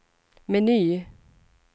meny